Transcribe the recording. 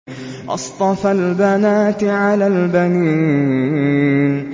أَصْطَفَى الْبَنَاتِ عَلَى الْبَنِينَ